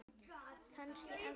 Kannski ennþá fleiri.